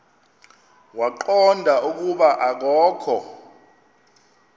waqonda ukuba akokho